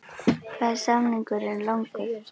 Hvað er samningurinn langur?